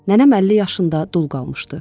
Nənəm 50 yaşında dul qalmışdı.